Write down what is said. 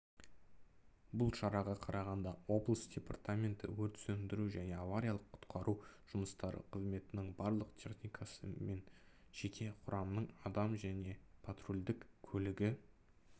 бұл шараға қарағанды облысы департаметі өрт сөндіру және авриялық-құтқару жұмыстары қызметінің бірлік техникасы мен жеке құрамның адамы және патрульдік көлігі